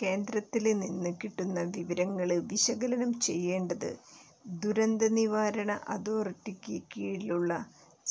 കേന്ദ്രത്തില് നിന്ന് കിട്ടുന്ന വിവരങ്ങള് വിശകലനം ചെയ്യേണ്ടത് ദുരന്തനിവാരണ അതോറിറ്റിക്ക് കീഴിലുള്ള